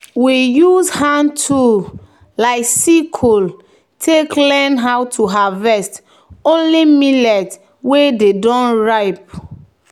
"we use hand tool like sickle take learn how to harvest only millet wey don ripe."